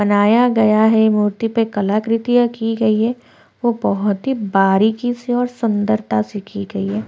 बनाया गया है मूर्ति पर कलाकृतिया की गई है वो बहुत ही बारीकी से और सुंदरता से की गई है।